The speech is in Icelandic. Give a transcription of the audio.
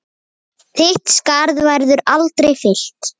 Þitt skarð verður aldrei fyllt.